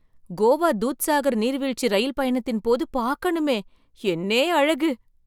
கோவா தூத்சாகர் நீர்வீழ்ச்சி ரயில் பயணத்தின் போது பார்க்கணுமே, என்னே அழகு!